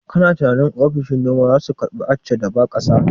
Kana tunanin ofishin noman zasu karbi Accha da ba ƙasa?